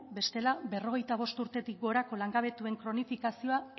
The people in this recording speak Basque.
bestela berrogeita bost urtetik gorako langabetuek kronifikazioa